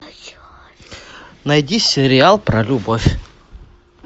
найди сериал про любовь